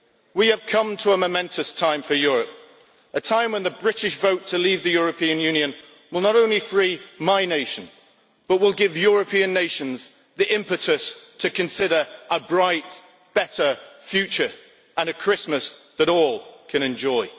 We have come to a momentous time for Europe, a time when the British vote to leave the European Union will not only free my nation but will give European nations the impetus to consider a bright, better future and a Christmas that all can enjoy.